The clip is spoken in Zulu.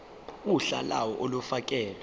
uhla lawo olufakelwe